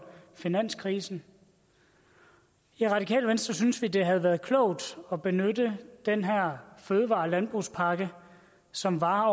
finanskrisen i radikale venstre synes vi det havde været klogt at benytte den her fødevare og landbrugspakke som varer